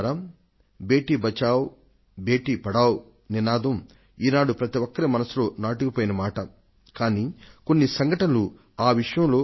ఆడ పిల్లను కాపాడండి ఆడ పిల్లను చదివించండి బేటీ బచావో బేటీ పఢావో ఈసరికే మన్ కీ బాత్ మనసులోని మాటగా భారతదేశ ప్రజలందరి హృదయాంతరాళం లోపలి ఆకాంక్ష అయిపోయింది